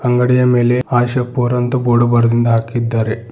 ಅಂಗಡಿಯ ಮೇಲೆ ಆಶಾಪುರ ಅಂತ್ ಬೋರ್ಡ್ ಬರದಿಂದ್ ಹಾಕಿದ್ದಾರೆ.